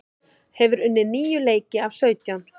Hefur unnið níu leiki af sautján